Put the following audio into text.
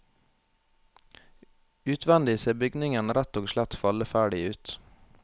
Utvendig ser bygningen rett og slett falleferdig ut.